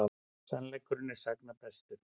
Sannleikurinn er sagna bestur.